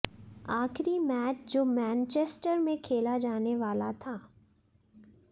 आखिरी मैच जो मैनचेस्टर में खेला जाने वाला था